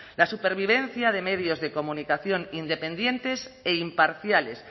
la supervivencia de medios de comunicación independientes e imparciales